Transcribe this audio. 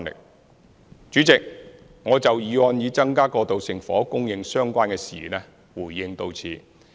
代理主席，我就"增加過渡性房屋供應"議案相關的事宜回應至此。